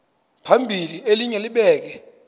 phambili elinye libheke